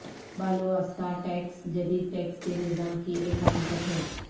بالواسطہ tax جدید tax کے نظام کی ایک حقیقت ہے